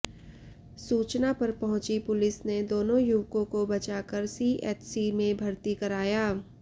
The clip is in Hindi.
सूचना पर पहुंची पुलिस ने दोनों युवकों को बचाकर सीएचसी में भर्ती कराया